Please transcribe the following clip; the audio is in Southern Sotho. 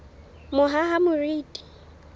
mohahamoriti